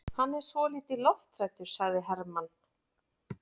Hann er svolítið lofthræddur, sagði Hermann.